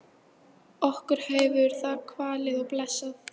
Okkur hefur það kvalið og blessað.